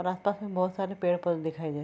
और आस-पास में बोहोत सारे पेड़-पौधे दिखाई दे --